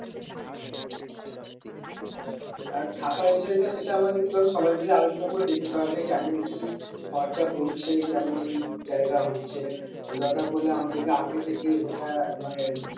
আর থাকার বিষয়টা সেটা আমাদেরকে ধরো মিলে আলোচনা করে দেখতে হবে কেমন কি খরচা পরছে কেমন জায়গা হচ্ছে দরকার পরলে আমাদেরকে আগে থেকে সেটা মানে